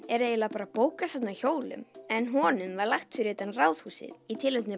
er eiginlega bókasafn á hjólum en honum var lagt fyrir utan Ráðhúsið